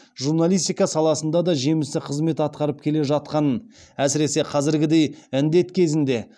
журналистика саласында да жемісті қызмет атқарып келе жатқанын әсіресе қазіргідей індет кезінде